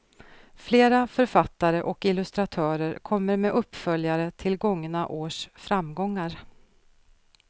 Flera författare och illustratörer kommer med uppföljare till gångna års framgångar.